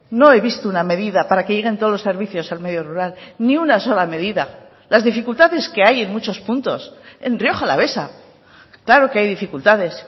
no he visto una medida para que lleguen todos los servicios al medio rural ni una sola medida las dificultades que hay en muchos puntos en rioja alavesa claro que hay dificultades